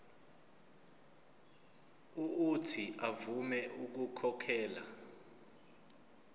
uuthi avume ukukhokhela